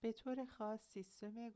به طور خاص سیستم